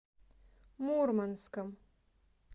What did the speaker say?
мурманском